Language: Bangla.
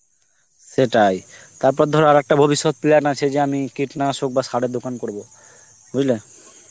সেটাই, তারপর ধরো আর একটা ভবিষ্যৎ plan আছে যে আমি কীটনাশক বা সারের দোকান করব, বুঝলে?